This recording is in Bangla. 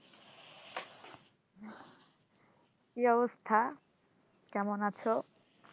কি অবস্থা কেমন আছো